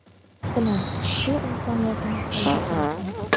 Biz bilan ushbu imkoniyatni qo‘lga kiriting.